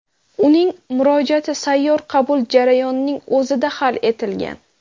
Uning murojaati sayyor qabul jarayoning o‘zida hal etilgan.